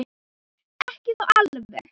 Ekki þó alveg.